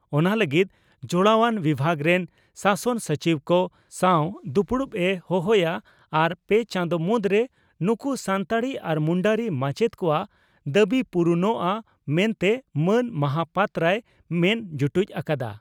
ᱚᱱᱟ ᱞᱟᱹᱜᱤᱫ ᱡᱚᱲᱟᱣᱟᱱ ᱵᱤᱵᱷᱟᱜ ᱨᱮᱱ ᱥᱟᱥᱚᱱ ᱥᱚᱪᱤᱵᱽ ᱠᱚ ᱥᱟᱣ ᱫᱩᱯᱩᱲᱩᱵ ᱮ ᱦᱚᱦᱚᱭᱟ ᱟᱨ ᱯᱮ ᱪᱟᱸᱫᱳ ᱢᱩᱫᱽᱨᱮ ᱱᱩᱠᱩ ᱥᱟᱱᱛᱟᱲᱤ ᱟᱨ ᱢᱩᱱᱰᱟᱹᱨᱤ ᱢᱟᱪᱮᱛ ᱠᱚᱣᱟᱜ ᱫᱟᱵᱤ ᱯᱩᱨᱩᱱᱚᱜᱼᱟ ᱢᱮᱱᱛᱮ ᱢᱟᱱ ᱢᱚᱦᱟᱯᱟᱛᱨᱚᱭ ᱢᱮᱱ ᱡᱩᱴᱩᱡ ᱟᱠᱟᱫᱼᱟ ᱾